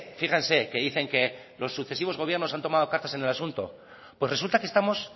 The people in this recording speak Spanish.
fíjense que dicen que los sucesivos gobiernos han tomado cartas en el asunto pues resulta que estamos